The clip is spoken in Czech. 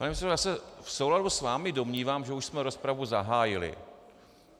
Pane předsedo já se v souladu s vámi domnívám, že už jsme rozpravu zahájili.